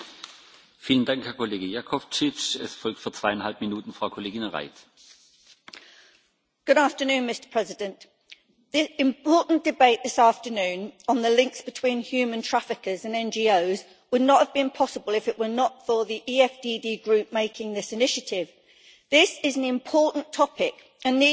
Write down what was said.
Mr President, this important debate this afternoon on the links between human traffickers and NGOs would not have been possible if it were not for the EFDD group taking this initiative. This is an important topic and needs to be addressed, and not simply brushed under the carpet.